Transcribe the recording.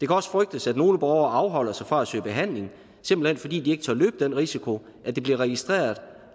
også frygtes at nogle borgere afholder sig fra at søge behandling simpelt hen fordi de ikke tør løbe den risiko at det bliver registreret